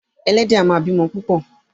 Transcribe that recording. Ẹlẹ́dẹ̀ a máa bímọ púpò.